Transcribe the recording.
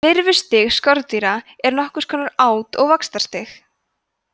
lirfustig skordýra er nokkurs konar át og vaxtarstig